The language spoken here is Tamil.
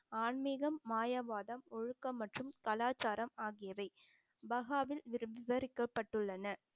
ஆன்மீகம், மாயவாதம், ஒழுக்கம் மற்றும் கலாச்சாரம் ஆகியவை பஹாவில் விவரிக்கப்பட்டுள்ளன